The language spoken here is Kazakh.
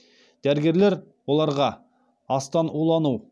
дәрігерлер оларға астан улану